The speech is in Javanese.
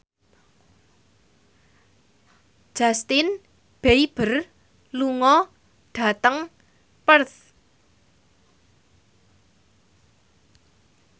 Justin Beiber lunga dhateng Perth